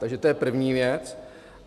Takže to je první věc.